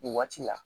Nin waati la